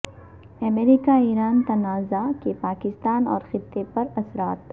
امریکہ Iran تنازع کے پاکستان اور خطے پر اثرات